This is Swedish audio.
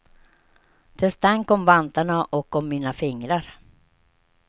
Det stank om vantarna och om mina fingrar.